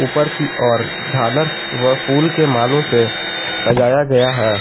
ऊपर की ओर झालर वह फूल के मालों से सजाया गया है।